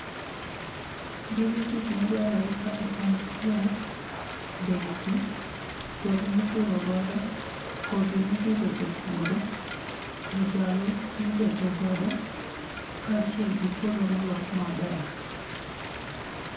Gige tich madwarore kae en kwer, beti, kwer mipuro godo, kodhi mipidho e puodho, ojalo mibeto godo, kaachiel gi puodho ma olos maber.